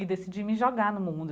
e decidi me jogar no mundo.